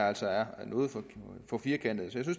altså er noget for firkantet